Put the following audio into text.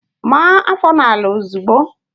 Maa áfọ̀ n'ala ozigbo!